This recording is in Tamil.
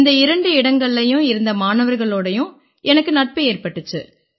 இந்த இரண்டு இடங்கள்லயும் இருந்த மாணவர்களோடயும் எனக்கு நட்பு ஏற்பட்டிச்சு